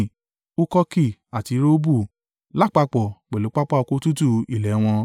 Hukoki àti Rehobu lápapọ̀ pẹ̀lú pápá oko tútù ilẹ̀ wọn.